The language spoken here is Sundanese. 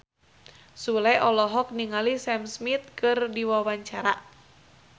Sule olohok ningali Sam Smith keur diwawancara